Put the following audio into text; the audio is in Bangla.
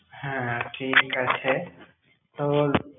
হ্যাঁ, ঠিক আছে তোর।